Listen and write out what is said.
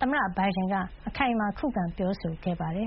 သမ္မတ Biden အခိုင်အမာ ခုခံပြောဆိုသွားပါတယ်